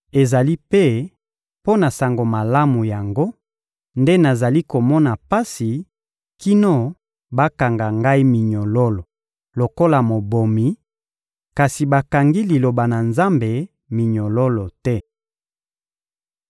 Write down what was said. Ezali mpe mpo na Sango Malamu yango nde nazali komona pasi kino bakanga ngai minyololo lokola mobomi, kasi bakangi Liloba na Nzambe minyololo te.